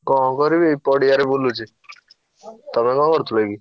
କଣ କରିବି ପଡିଆରେ ବୁଲୁଛି। ତମେ କଣ କରୁଥିଲ କି?